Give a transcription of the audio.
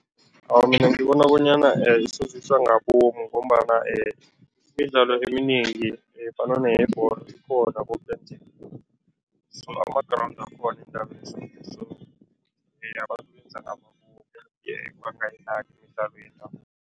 Awa, mina ngibona bonyana isoziswa ngabomu ngombana imidlalo eminengi efana neyebholo ikhona koke nje so ama-ground akhona so abantu benza ngabomu bangayidlali imidlalo yendabuko.